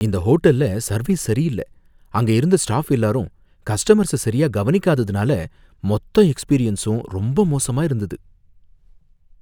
இந்த ஹோட்டல்ல சர்வீஸ் சரியில்ல, அங்க இருந்த ஸ்டாஃப் எல்லாரும் கஸ்டமர்ஸ சரியா கவனிக்காததுனால மொத்த எக்ஸ்பீரியன்ஸும் ரொம்ப மோசமா இருந்தது